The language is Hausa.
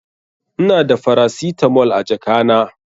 Ina da faracitamol a jaka na.